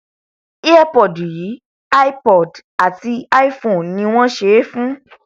earpod yìí ipod àti ipone ni wọn ṣe é fún